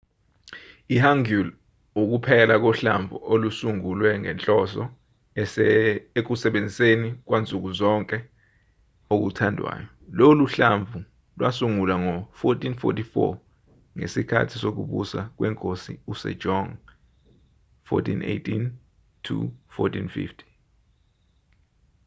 i-hangeul ukuphela kohlamvu olusungulwe ngenhloso ekusebenziseni kwansuku zonke okuthandwayo. lolu hlamvu lwasungulwa ngo-1444 ngesikhathi sokubusa kwenkosi usejong 1418 – 1450